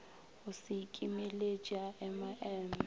go se ikimeletše a emaeme